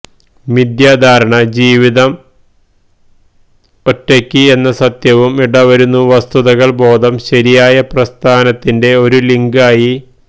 മിഥ്യാധാരണ ജീവിതം ംയ്മ് എന്ന സത്യവും ഇടവരുന്നു വസ്തുതകൾ ബോധം ശരിയായ പ്രസ്ഥാനത്തിന്റെ ഒരു ലിങ്ക് ആയി